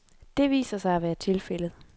Det viser sig at være tilfældet.